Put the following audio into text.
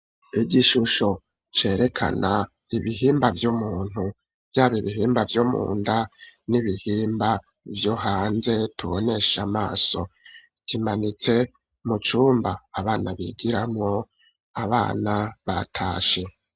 Igishusho cerekana ibihimba vy'umuntu vyaba ibihimba vyomunda n'ibihimba vyo hanze tubonesha amaso kimanitse mu cumba abana bigiramo abana batashe.